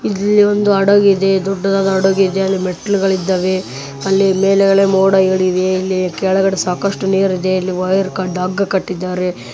ಇಲ್ಲಿ ಒಂದು ಹಡಗು ಇದೆ ದೊಡ್ಡದಾದ ಹಡಗು ಇದೆ ಅಲ್ಲಿ ಮೆಟ್ಟಿಲುಗಳು ಇದ್ದವೆ ಅಲ್ಲಿ ಮೇಲೆಗಡೆ ಮೊಡಗಳ ಇವೆ ಇಲ್ಲಿ ಕೆಳಗಡೆ ಸಾಕಷ್ಟು ನೀರು ಇದೆ ಇಲ್ಲಿ ವೈರ್ ಹಗ್ಗ ಕಟ್ಟಿದ್ದಾರೆ .